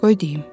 Qoy deyim.